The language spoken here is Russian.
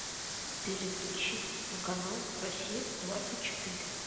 переключи на канал россия двадцать четыре